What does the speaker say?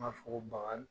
N b'a fɔ ko baga